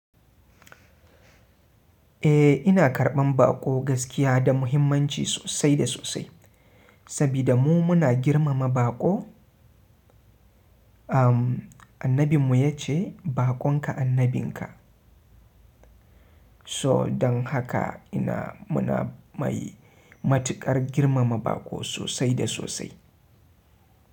Eh ina karɓan baƙo gaskiya da muhimmanci sosai da sosai, saboda mu muna girmama baƙo. Umm, annabinmu ya ce, "Baƙon ka annabinka." So don haka ina-- muna mai matuƙar girmama baƙo sosai da sosai.